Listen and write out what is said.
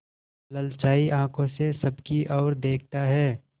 ललचाई आँखों से सबकी और देखता है